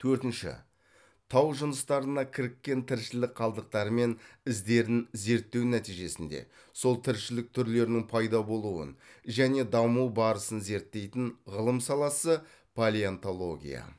төртінші тау жыныстарына кіріккен тіршілік қалдықтары мен іздерін зерттеу нәтижесінде сол тіршілік түрлерінің пайда болуын және даму барысын зерттейтін ғылым саласы палеонтология